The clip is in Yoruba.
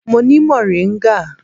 Mo ni moringa.